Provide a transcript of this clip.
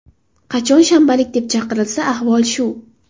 Qachon shanbalik deb chaqirilsa, ahvol shu.